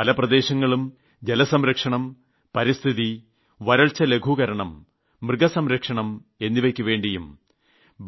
പല പ്രദേശങ്ങളും ജലസംരക്ഷണം പരിസ്ഥിതി വരൾച്ച ലഘൂകരണം മൃഗസംരക്ഷണം എിവയ്ക്കുവേണ്ടിയും